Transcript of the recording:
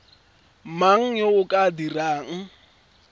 mang yo o ka dirang